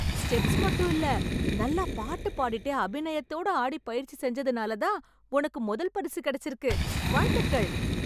Steps மட்டுமில்ல, நல்லா பாட்டு பாடிட்டே அபிநயத்தோட ஆடி பயிற்சி செஞ்சதுனாலதான் உனக்கு முதல் பரிசு கெடைச்சிருக்கு... வாழ்த்துகள்.